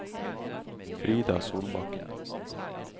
Frida Solbakken